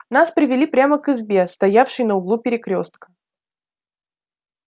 нас привели прямо к избе стоявшей на углу перекрёстка